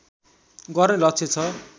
गर्ने लक्ष्य छ